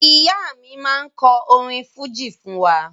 Ìyá mi máa kọ orin fújì fún wa